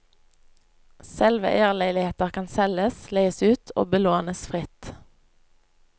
Selveierleiligheter kan selges, leies ut og belånes fritt.